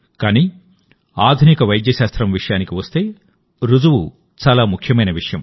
కానీ ఆధునిక వైద్య శాస్త్రం విషయానికి వస్తే రుజువు చాలా ముఖ్యమైన విషయం